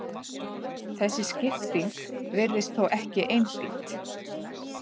Þessi skipting virðist þó ekki einhlít.